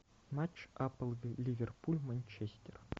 матч апл ливерпуль манчестер